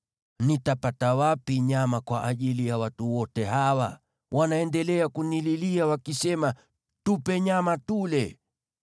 Nitapata wapi nyama kwa ajili ya watu wote hawa? Wanaendelea kunililia wakisema, ‘Tupe nyama tule!’